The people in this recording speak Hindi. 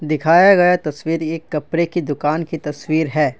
दिखाया गया तस्वीर एक कपड़े की दुकान की तस्वीर है।